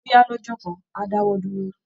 Bóyá lọ́jọ́ kan á dáwọ́ dúró